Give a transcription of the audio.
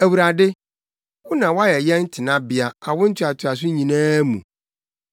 Awurade, wo na woayɛ yɛn tenabea awo ntoatoaso nyinaa mu.